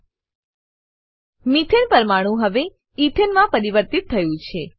મેથાને methane પરમાણુ હવે ethane ethane માં પરિવર્તિત થયું છે